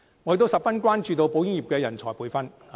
我亦十分關注保險業的人才培訓問題。